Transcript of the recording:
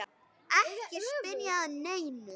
Ekki spyrja að neinu!